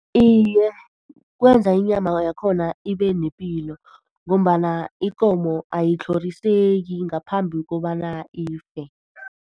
Iye, kwenza inyama yakhona ibe nepilo ngombana ikomo ayitlhoriseki ngaphambi kobana ife.